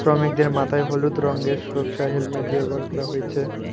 শ্রমিকদের মাথায় হলুদ রঙ্গের হেলমেট ব্যবহার করা হয়েছে।